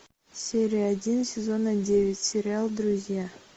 серия один сезона девять сериал друзья